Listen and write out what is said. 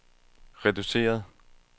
reduceret